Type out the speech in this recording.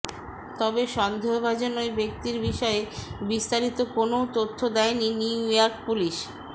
তবে সন্দেহভাজন ওই ব্যক্তির বিষয়ে বিস্তারিত কোনও তথ্য দেয়নি নিউইয়র্ক পুলিশ